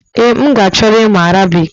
Ee, m ka chọrọ ịmụ Arabic